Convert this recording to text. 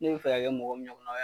Ni bɛ fɛ ka kɛ mɔgɔ min ɲɔgɔna ye